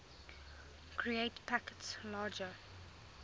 create packets larger